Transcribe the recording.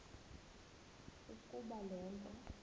ukuba le nto